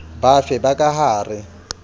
bafe ba ka ha re